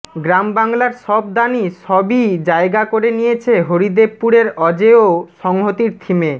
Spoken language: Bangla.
গ্রামবাংলার সব দানই সবই জায়গা করে নিয়েছে হরিদেবপুরের অজেয় সংহতির থিমে